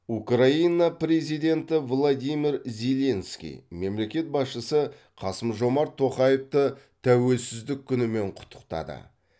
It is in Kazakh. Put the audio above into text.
украина президенті владимир зеленский мемлекет басшысы қасым жомарт тоқаевты тәуелсіздік күнімен құттықтады